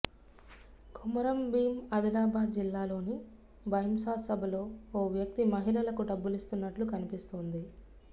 కొమురం భీం ఆదిలాబాద్ జిల్లాలోని భైంసా సభలో ఓ వ్యక్తి మహిళలకు డబ్బులిస్తున్నట్టు కనిపిస్తోంది